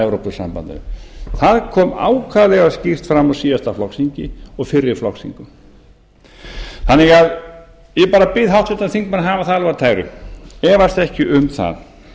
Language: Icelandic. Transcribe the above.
ha það kom ákaflega skýrt fram á síðasta flokksþingi og fyrri flokksþingum ég bara bið háttvirtan þingmann að hafa það alveg á tæru efast ekki um það